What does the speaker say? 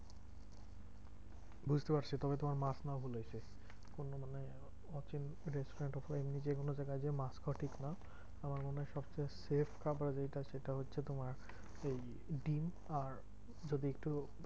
বুঝতে পারছি তবে তোমার মাছ নেওয়া ভুল হয়েছে। অন্য মানে অচেনা restaurant উপরে এমনি যেগুলো দেখায় যে মাছ খাওয়া ঠিক না। আমার মনে হয় সবচেয়ে safe খাবার যেটা সেটা হচ্ছে তোমার, ওই ডিম্ আর যদি একটু